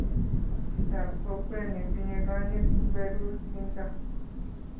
Chitap kokwe nitinyei konyit ku berur kinto